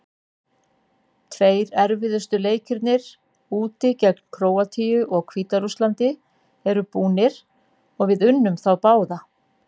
Tveir erfiðustu leikirnir, úti gegn Króatíu og Hvíta-Rússlandi eru búnir og við unnum þá báða.